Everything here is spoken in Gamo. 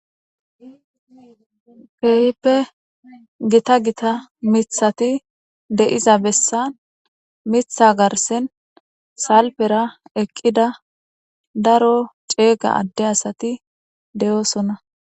Kehipe gita gita mitati deiza besan mita garisen salifera eqida daro cega adde asati deosona.